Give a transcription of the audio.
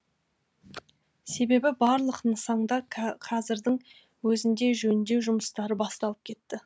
себебі барлық нысанда қазірдің өзінде жөндеу жұмыстары басталып кетті